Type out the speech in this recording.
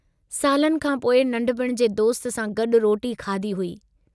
सालनि खां पोइ नन्ढपुणि जे दोस्त सां गॾु रोटी खाधी हुई।